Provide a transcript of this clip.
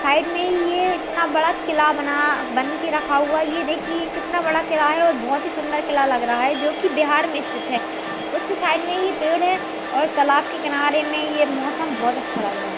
Side में ये इतना बड़ा किला बना बनके रखा हुआ ये देखिए कितना बड़ा किला है और बहुत ही सुन्दर किला लग रहा है जो बिहार में स्थित है उसके साइड में ये पेड़ है और तालाब के किनारे में ये मौसम बहुत अच्छा लग रहा है।